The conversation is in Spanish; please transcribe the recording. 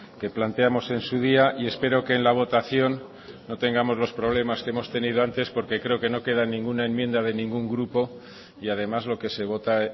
que planteamos en su día y espero que en la votación no tengamos los problemas que hemos tenido antes porque creo que no queda ninguna enmienda de ningún grupo y además lo que se vota